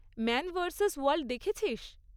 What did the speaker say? Man versus wild দেখেছিস?